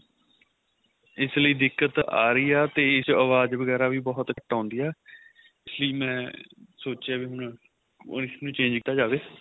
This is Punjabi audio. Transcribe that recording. ਇਸ ਲਈ ਦਿਕਤ ਆ ਰਹੀ ਆ ਤੇ ਇਸ ਚ ਆਵਾਜ ਵਗੈਰਾ ਵੀ ਬਹੁਤ ਘੱਟ ਆਉਂਦੀ ਆ ਸੀ ਮੈਂ ਸੋਚਿਆ ਵੀ ਹੁਣ ਹੁਣ ਇਸ ਨੂੰ change ਕੀਤਾ ਜਾਵੇ